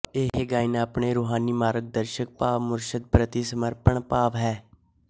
ਇਹ ਗਾਇਨ ਆਪਣੇ ਰੂਹਾਨੀ ਮਾਰਗ ਦਰਸ਼ਕ ਭਾਵ ਮੁਰਸ਼ਦ ਪ੍ਰਤੀ ਸਮਰਪਣ ਭਾਵ ਹੈ